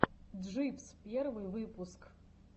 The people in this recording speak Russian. джибс первый выпуск